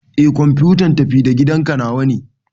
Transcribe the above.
Eh kwamfuta tafi-da-gidanka nawa ne.